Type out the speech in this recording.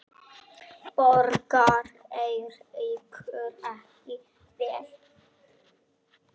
Borgar Eiríkur ekki vel?